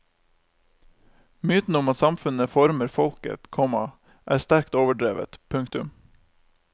Myten om at samfunnet former folket, komma er sterkt overdrevet. punktum